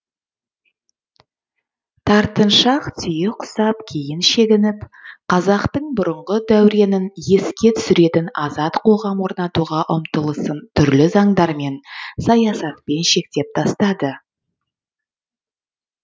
тартыншақ түйе құсап кейін шегініп қазақтың бұрынғы дәуренін еске түсіретін азат қоғам орнатуға ұмтылысын түрлі заңдармен саясатпен шектеп тастады